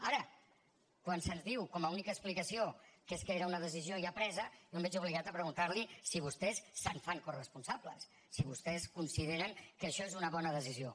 ara quan se’ns diu com a única explicació que és que era una decisió ja presa jo em veig obligat a preguntar li si vostès se’n fan coresponsables si vostès consideren que això és una bona decisió